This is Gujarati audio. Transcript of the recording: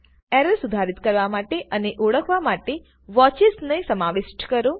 એરર સુધારિત કરવા માટે અને ઓળખવા માટે વોચેસ ને સમાવિષ્ઠ કરો